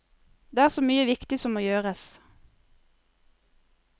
Det er så mye viktig som må gjøres.